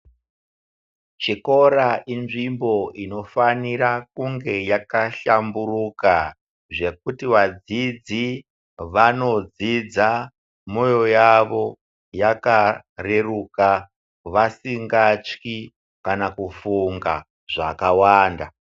Chikora inzvimbo inofanira kunge yakahlamburuka zvekuti vadzidzi vanodzidza moyo yavo yakareruka vasingatyi kana kufunga zvakawanda.